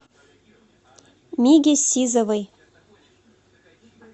миге сизовой